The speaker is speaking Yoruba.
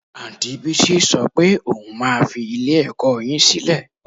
Anti Bísí sọ pé òun máa fi ilé-ẹ̀kọ́ yín sílẹ̀